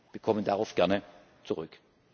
Wir kommen darauf gerne zurück.